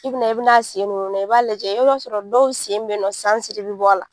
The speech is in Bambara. I bina i bina a sen ninnu lajɛ i b'a lajɛ i b'a sɔrɔ dɔw sen beyinɔ sansiri bi bɔ a la.